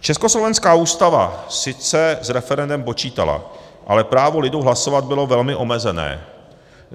Československá ústava sice s referendem počítala, ale právo lidu hlasovat bylo velmi omezené.